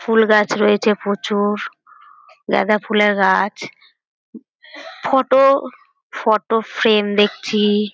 ফুলগাছ রয়েছে প্রচুর গাঁদা ফুলের গাছ। ফটো ফটো ফ্রেম দেখছি ।